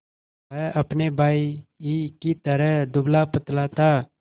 वह अपने भाई ही की तरह दुबलापतला था